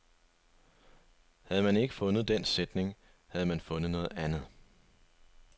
Havde man ikke fundet den sætning, havde man fundet noget andet.